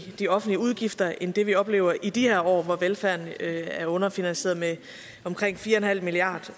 de offentlige udgifter end det vi oplever i de her år hvor velfærden er underfinansieret med omkring fire milliard